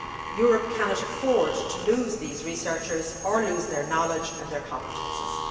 Europe cannot afford to lose these researchers or lose their knowledge and their competences.